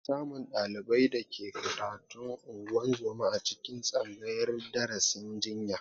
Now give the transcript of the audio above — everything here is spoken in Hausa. Ana samun ɗaliban da ke karatun ungozoma a cikin tsangayar darasin jinya